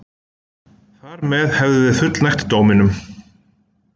Þar með hefðum við fullnægt dóminum